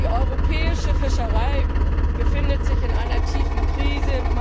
Die europäische Fischerei befindet sich in einer tiefen Krise